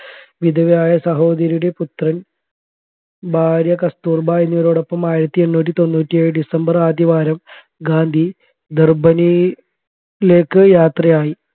വിധവയായ സഹോദരിയുടെ പുത്രൻ ഭാര്യ കസ്തൂർബാ എന്നിവരോടൊപ്പം ആയിരത്തി എണ്ണൂറ്റി തൊണ്ണൂറ്റി ഏഴ് ഡിസംബർ ആദ്യവാരം ഗാന്ധി ദർബനിലേക്ക് യാത്രയായി